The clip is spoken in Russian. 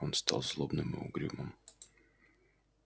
он стал злобным и угрюмым